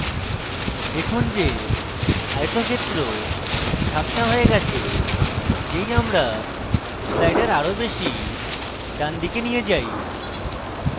দেখুন যে আয়তক্ষেত্র ঝাপসা হয়ে গেছে যেই আমরা slider আরো বেশী ডানদিকে নিয়ে যাই